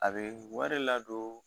A bɛ wari ladon